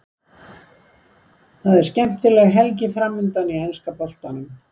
Það er skemmtileg helgi framundan í enska boltanum.